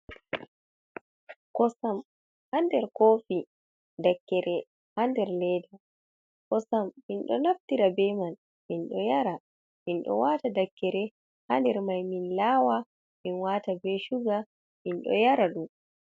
Ƙosam ha nɗer kofi ɗakkere ha nɗer leɗa, kosam minɗo naftira ɓe man minɗo yara, minɗo wata dakkere ha nɗer mai min lawa min wata ɓe shuga min ɗo yara ɗum.